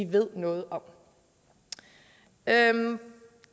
ved noget om jeg vil